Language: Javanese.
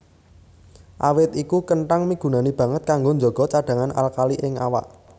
Awit iku kenthang migunani banget kanggo njaga cadhangan alkali ing awak